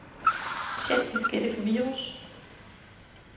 Check diskette for virus.